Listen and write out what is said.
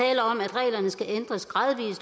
reglerne skal ændres gradvis